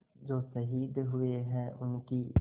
जो शहीद हुए हैं उनकी